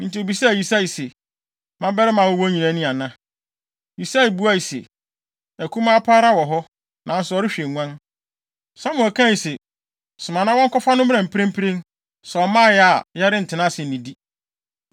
Enti obisaa Yisai se, “Mmabarima a wowɔ nyinaa ni ana?” Yisai buae se, “Akumaa pa ara wɔ hɔ, nanso ɔrehwɛ nguan.” Samuel kae se, “Soma na wɔnkɔfa no mmra mprempren. Sɛ ɔmmae a, yɛrentena ase nnidi.”